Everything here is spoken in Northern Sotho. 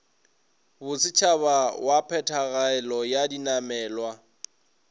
bosetšhaba wa phetogelo ya dinamelwa